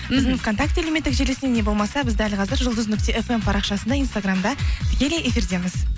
вконтакте әлеуметтік желісінде не болмаса біз дәл қазір жұлдыз нүкте фм парақшасында инстаграмда тікелей эфирдеміз